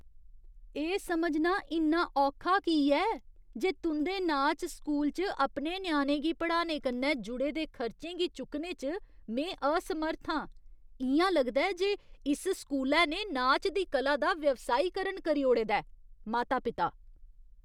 एह् समझना इन्ना औखा की ऐ जे तुं'दे नाच स्कूल च अपने ञ्याणे दी पढ़ाई कन्नै जुड़े दे खर्चें गी चुक्कने च में असमर्थ आं? इ'यां लगदा ऐ जे इस स्कूलै ने नाच दी कला दा व्यावसायीकरण करी ओड़े दा ऐ। माता पिता